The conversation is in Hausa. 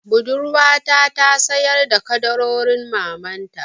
Budurwata ta sayar da ƙaddarorin mamanta.